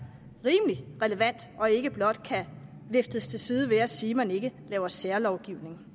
rimelig relevant og ikke blot kan viftes til side ved at sige at man ikke laver særlovgivning